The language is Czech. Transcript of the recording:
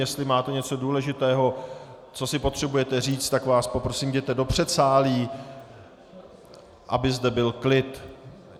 Jestli máte něco důležitého, co si potřebujete říct, tak vás poprosím, jděte do předsálí, aby zde byl klid.